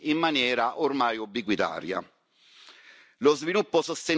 facendo strage dei nostri cari in maniera ormai ubiquitaria.